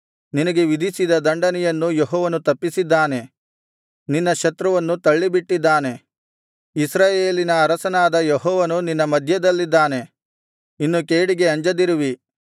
ನಿನಗೆ ವಿಧಿಸಿದ ದಂಡನೆಯನ್ನು ಯೆಹೋವನು ತಪ್ಪಿಸಿದ್ದಾನೆ ನಿನ್ನ ಶತ್ರುವನ್ನು ತಳ್ಳಿಬಿಟ್ಟಿದ್ದಾನೆ ಇಸ್ರಾಯೇಲಿನ ಅರಸನಾದ ಯೆಹೋವನು ನಿನ್ನ ಮಧ್ಯದಲ್ಲಿದ್ದಾನೆ ಇನ್ನು ಕೇಡಿಗೆ ಅಂಜದಿರುವಿ